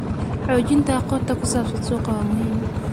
Xoojinta aqoonta ku saabsan suuqa waa muhiim.